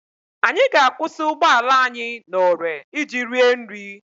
Anyị ga-akwụsị ụgbọala anyị n'ore iji rie nri.